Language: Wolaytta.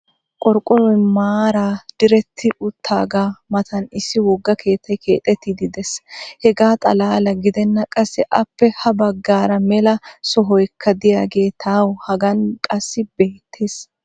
qorqqoroy maaraa diretti utaagaa matan issi woga keettay keexettiidi des. hegaa xalaala gidennan qassi appe ha bagaara mela sohoykka diyagee tawu hagan qassi beetees.